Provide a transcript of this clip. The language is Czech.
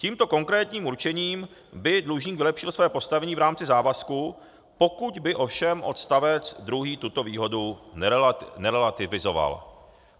Tímto konkrétním určením by dlužník vylepšil své postavení v rámci závazku, pokud by ovšem odstavec druhý tuto výhodu nerelativizoval.